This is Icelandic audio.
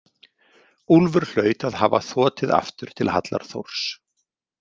Úlfur hlaut að hafa þotið aftur til hallar Þórs.